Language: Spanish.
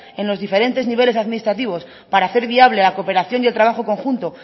en los diferentes niveles administrativos para hacer viable la cooperación y el trabajo conjunto